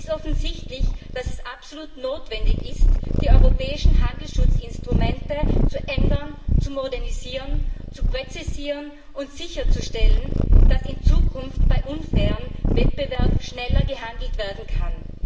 Es ist offensichtlich, dass es absolut notwendig ist, die europäischen Handelsschutzinstrumente zu ändern, zu modernisieren, zu präzisieren und sicherzustellen, dass in Zukunft bei unfairem Wettbewerb schneller gehandelt werden kann.